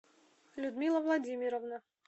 людмила владимировна